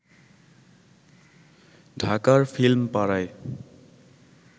ঢাকার ফিল্ম পাড়ায়